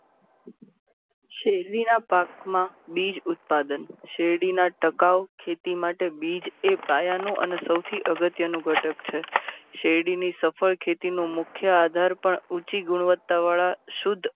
શેરડીના પાકમાં બીજ ઉત્પાદન શેરડીના ટકાઉ ખેતી માટે બીજ પાયાનું અને સૌથી અગત્યનું ઘટક છે. શેરડીની સફળ ખેતીનું મુખ્ય આધાર પણ ઊંચી ગુણવત્તવાળા શુધ્ધ